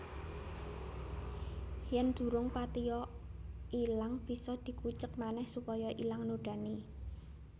Yen durung patiya ilang bisa dikucek manéh supaya ilang nodané